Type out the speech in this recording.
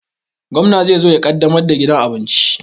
Gwamna ne zai zo ya ƙaddamar da gidan abincin